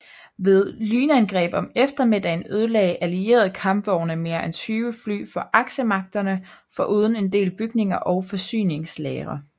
Ved et lynangreb om eftermiddagen ødelagde allierede kampvogne mere end 20 fly fra aksemagterne foruden en del bygninger og forsyningslagre